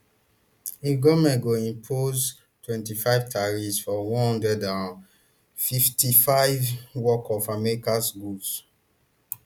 im goment go impose twenty-five tariffs for one hundred and fifty-fivebn work of american goods